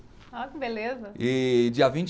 Olha que beleza. e dia vinte